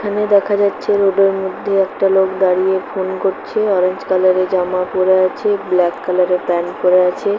এখানে দেখা যাচ্ছে রোড - এর মধ্যে একটা লোক দাঁড়িয়ে ফোন করছে অরেঞ্জ কালার - এর জামা পরে আছে ব্ল্যাক কালার - এর প্যান্ট পরে আছে ।